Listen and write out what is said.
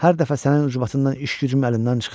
Hər dəfə sənin ucbatından iş-gücüm əlimdən çıxır.